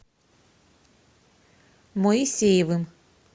моисеевым